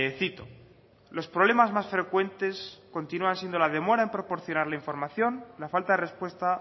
cito los problemas más frecuentes continúan siendo la demora en proporcionar la información la falta de respuesta